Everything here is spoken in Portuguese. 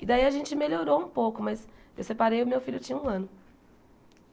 E daí a gente melhorou um pouco, mas eu separei o meu filho tinha um ano.